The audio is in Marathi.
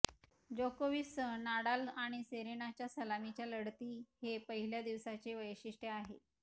जोकोविचसह नाडाल आणि सेरेनाच्या सलामीच्या लढती हे पहिल्या दिवसाचे वैशिष्टय़ आहे